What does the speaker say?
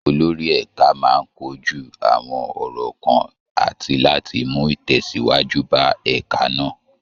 Olórí ẹ̀ka máa kojú àwọn ọ̀rọ̀ kan àti láti mú ìtẹ̀síwájú bá ẹ̀ka náà